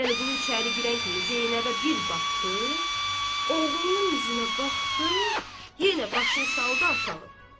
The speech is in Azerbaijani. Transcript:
Vəliqulu içəri girən kimi Zeynəbə bir baxdı, oğlunun üzünə baxdı, yenə başını saldı aşağı.